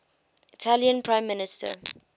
italian prime minister